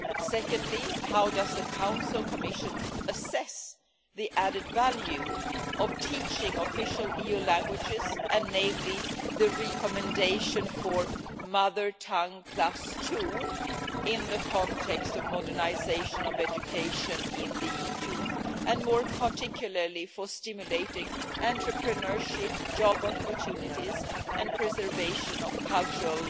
Secondly, how does the Council and the Commission assess the added value of teaching official EU languages and particularly the recommendation for mother tongue plus two' in the context of modernisation of education in the EU, and more particularly for stimulating entrepreneurship, job opportunities and preservation of cultural